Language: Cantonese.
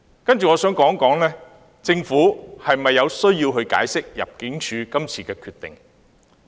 接着我想談政府是否有需要解釋入境處今次的決定。